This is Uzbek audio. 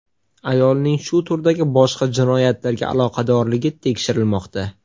Ayolning shu turdagi boshqa jinoyatlarga aloqadorligi tekshirilmoqda.